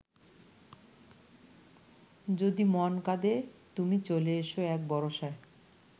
যদি মন কাঁদে তুমি চলে এসো এক বরষায়